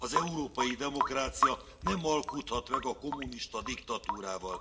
Az európai demokrácia nem alkudhat meg a kommunista diktatúrával.